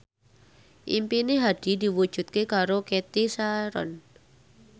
impine Hadi diwujudke karo Cathy Sharon